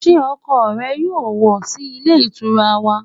Sé ọkọ rẹ yóò wọ̀ sí Ilé Ìtura wà